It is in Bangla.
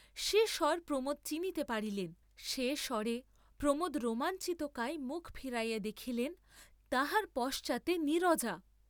সে স্বর প্রমোদ চিনিতে পারিলেন, সে স্বরে প্রমোদ রোমাঞ্চিত কায়ে মুখ ফিরাইয়া দেখিলেন তাঁহার পশ্চাতে নীরজা।